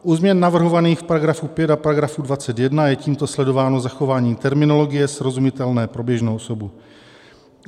U změn navrhovaných v § 5 a § 21 je tímto sledováno zachování terminologie srozumitelné pro běžnou osobu.